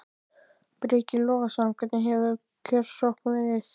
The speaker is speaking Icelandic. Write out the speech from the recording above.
Breki Logason: Hvernig hefur kjörsókn verið?